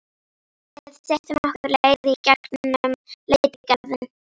Við styttum okkur leið í gegn um Letigarðinn.